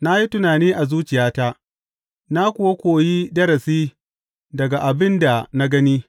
Na yi tunani a zuciyata na kuwa koyi darasi daga abin da na gani.